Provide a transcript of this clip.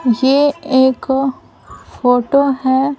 ये एक फोटो है ।